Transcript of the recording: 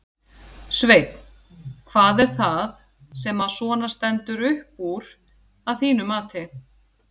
Sveinn: Hvað er það sem að svona stendur upp úr að þínu mati?